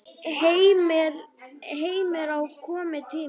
Heimir Már: Kominn tími til?